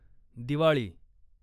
Diwali